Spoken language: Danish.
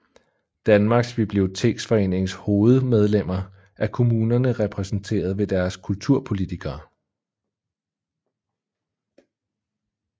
Danmarks Biblioteksforenings hovedmedlemsgruppe er kommunerne repræsenteret ved deres kulturpolitikere